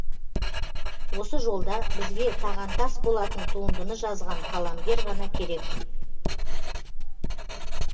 осы жолда бізге тағантас болатын туындыны жазған қаламгер ғана керек